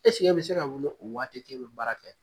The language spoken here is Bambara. e bi se ka wuli o waati k'e bi baara kɛ ?